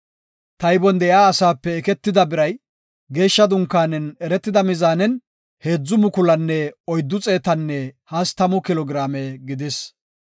Taybon de7iya asaape eketida biray geeshsha dunkaanen eretida mizaanen, heedzu mukulunne oyddu xeetanne hastamu kilo giraame gidis.